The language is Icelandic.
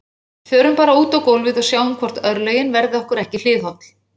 Förum bara út á gólfið og sjáum hvort örlögin verði okkur ekki hliðholl